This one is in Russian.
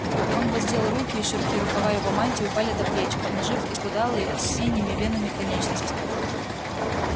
он воздел руки и широкие рукава его мантии упали до плеч обнажив исхудалые с синими венами конечности